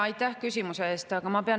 Aitäh küsimuse eest!